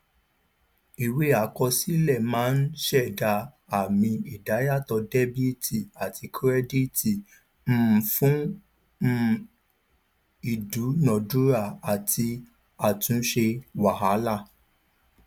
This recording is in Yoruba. ìwé àkọsílẹ máa ń ṣẹda àmì ìdá yàtò dẹbìtì àti kírẹdìtì um fún um ìdúnadúrà àti àtúnṣe wàhálà